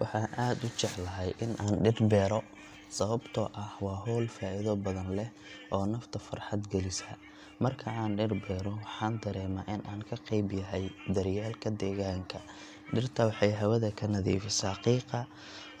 Waxaan aad u jeclahay in aan dhir beero sababtoo ah waa hawl faa’iido badan leh oo nafta farxad gelisa. Marka aan dhir beero, waxaan dareemaa in aan qayb ka yahay daryeelka deegaanka. Dhirta waxay hawada ka nadiifisaa qiiqa,